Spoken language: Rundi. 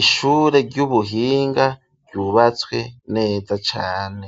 Ishure ry'ubuhinga ryubatswe neza cane,